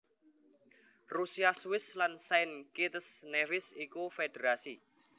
Rusia Swiss lan Saint Kitts Nevis iku federasi